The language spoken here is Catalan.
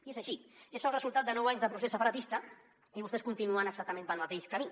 i és així és el resultat de nou anys de procés separatista i vostès continuen exactament pel mateix camí